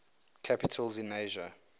capitals in asia